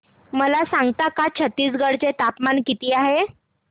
मला सांगता का छत्तीसगढ चे तापमान किती आहे